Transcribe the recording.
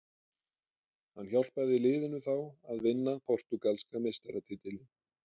Hann hjálpaði liðinu þá að vinna portúgalska meistaratitilinn.